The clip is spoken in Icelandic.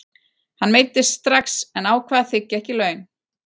Hann meiddist strax en ákvað að þiggja ekki laun.